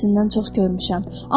beləsindən çox görmüşəm.